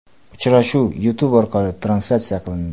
Uchrashuv YouTube orqali translyatsiya qilindi.